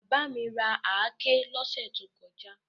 Bàbá mi ra àáké lọ́sẹ̀ tó kọjá.